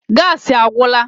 Gaasi agwụla